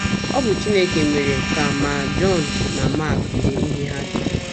Ọ bụ Chineke mere ka ma Jọn ma Mak dee ihe ha dere.